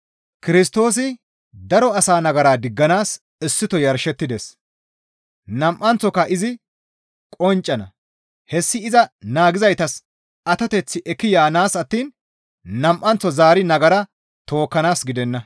Kirstoosi daro asa nagara digganaas issito yarshettides; nam7anththoka izi qonccana; hessi iza naagizaytas atoteth ekki yaanaas attiin nam7anththo zaari nagara tookkanaas gidenna.